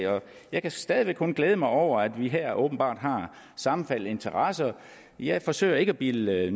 jeg kan stadig væk kun glæde mig over at vi her åbenbart har sammenfaldende interesser jeg forsøger ikke at bilde